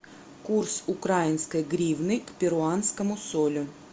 курс украинской гривны к перуанскому солю